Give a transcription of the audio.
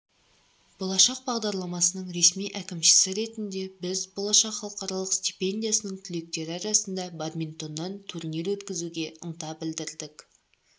болашақ бағдарламасының ресми әкімшісі ретінде біз болашақ халықаралық стипендиясының түлектері арасында бадминтоннан турнир өткізуге ынта білдірдік